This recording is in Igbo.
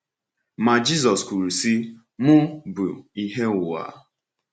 Ma Jisọs kwuru sị: “Mụ bụ ìhè ụwa.”